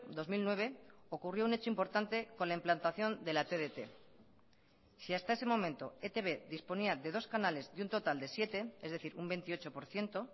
dos mil nueve ocurrió un hecho importante con la implantación de la tdt si hasta ese momento etb disponía de dos canales de un total de siete es decir un veintiocho por ciento